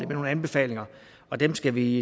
nogle anbefalinger og dem skal vi